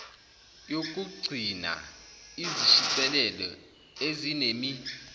yokuqgcinaa izishicilelo ezinemi